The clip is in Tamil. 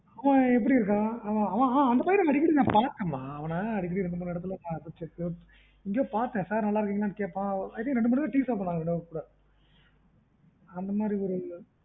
ஆ எப்படி இருக்கான் அந்த பையன் அடிக்கடிபாத்தேன் மா i think two three time tea சாப்பிட்டோம் நாங்க ரெண்டு பேரும் கூட